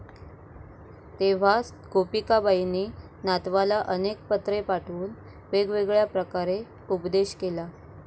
तेव्हा गोपीकाबाईंनी नातवाला अनेक पत्रे पाठवून वेगवेगळ्या प्रकारे उपदेश केला.